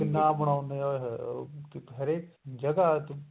ਕਿੰਨਾ ਬਣਾਉਦੇ ਉਹੇ ਹੋਏ ਹੋਏ ਉਹ ਹਰੇਕ ਜਗ੍ਹਾ ਚ